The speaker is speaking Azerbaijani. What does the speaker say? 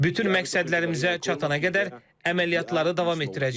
Bütün məqsədlərimizə çatana qədər əməliyyatları davam etdirəcəyik.